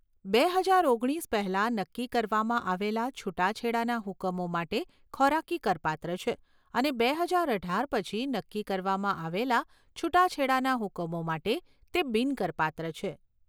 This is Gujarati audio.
બે હજાર ઓગણીસ પહેલાં નક્કી કરવામાં આવેલા છૂટાછેડાના હુકમો માટે ખોરાકી કરપાત્ર છે અને બે હજાર અઢાર પછી નક્કી કરવામાં આવેલા છૂટાછેડાના હુકમો માટે તે બિન કરપાત્ર છે.